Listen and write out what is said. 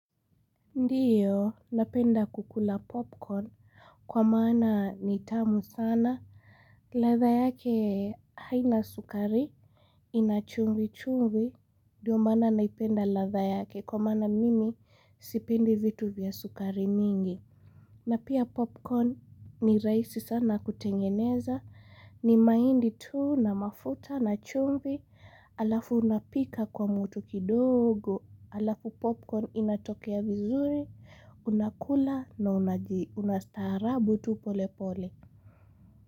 Ndiyo, napenda kukula popcorn, kwa maana ni tamu sana, ladha yake haina sukari, inachumvi chumvi, ndiyo maana naipenda ladha yake, kwa maana mimi sipendi vitu vya sukari nyingi, na pia popcorn ni rahisi sana kutengeneza, ni mahindi tuu na mafuta na chumvi, alafu unapika kwa moto kidogo, alafu popcorn inatokea vizuri, Unakula na unastaarabu tu polepole.